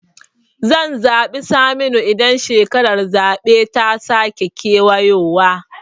Zan zaɓi Saminu idan shekarar zaɓe ta sake kewayowa